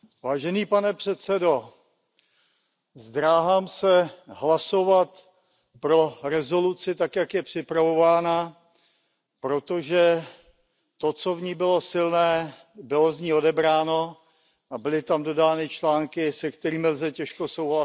Pane předsedající, zdráhám se hlasovat pro rezoluci tak, jak je připravována, protože to, co v ní bylo silné, bylo z ní odebráno a byly tam dodány články, se kterými lze těžko souhlasit.